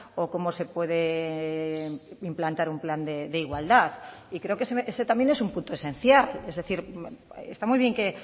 o cómo se puede implantar un plan de igualdad y creo que ese también es un punto esencial es decir está muy bien que